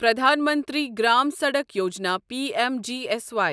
پرٛدھان منتری گرام سڑک یوجنا پیٚ M G S Y